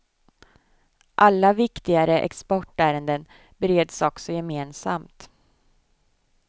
Alla viktigare exportärenden bereds också gemensamt.